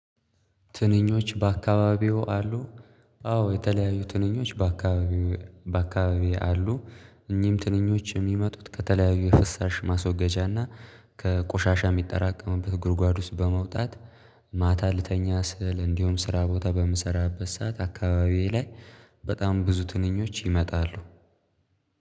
ትንኞች በአካባቢው አሉ። አዎ የተለያዩ ትንኞች በአካባቢው በአካባቢው አሉ። እኚህም ትንኞች የሚመጡት ከተለያዩ የፍሳሽ ማስወገጃና ከቆሻሻ የሚጠራቀምበት ጉርጓድ ውስጥ በመውጣት ማታ ልተኛ ስል እንዲሆን ስራ ቦታ በምሰራበት ሰዓት አካባቢዬ ላይ በጣም ብዙ ትንኞች ይመጣሉ።